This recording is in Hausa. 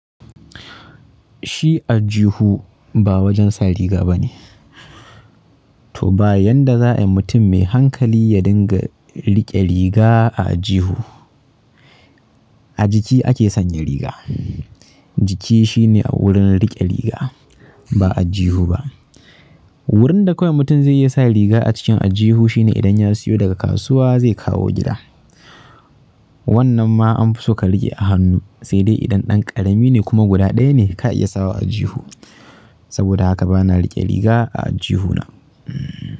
Shi aljihu ba wajen sa riga bane. To ba yadda za'ayi mutum mai hankali ya dinga riƙe riga a jihu. A jiki ake sanya riga. Jiki shine wurin riƙe riga ba a jihu ba. Wurin da kawai mutum zai iya sa riga a cikin aljihu shine idan ya siyo daga kasuwa zai kawo gida. Wannan ma an fi suka riƙe a hannu, sai dai idan ɗan ƙarami ne kuma guda ɗaya ne ka iya sawa a aljihu. Saboda haka bana riƙe riga a aljihuna.